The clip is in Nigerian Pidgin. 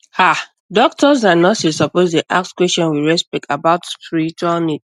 ah doctors and nurses suppose dey ask question with respect about spiritual needs